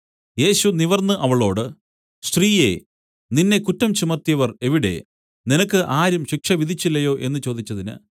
യേശു നിവർന്നു അവളോട് സ്ത്രീയേ നിന്നെ കുറ്റം ചുമത്തിയവർ എവിടെ നിനക്ക് ആരും ശിക്ഷ വിധിച്ചില്ലയോ എന്നു ചോദിച്ചതിന്